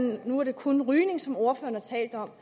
nu er det kun rygning som ordføreren har talt om